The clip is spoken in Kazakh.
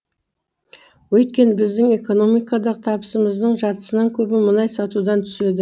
өйткені біздің экономикадағы табысымыздың жартысынан көбі мұнай сатудан түседі